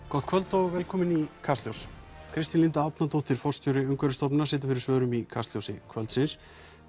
gott kvöld og velkomin í Kastljós Kristín Linda Árnadóttir forstjóri Umhverfisstofnunar situr fyrir svörum í Kastljósi kvöldsins